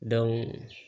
Daw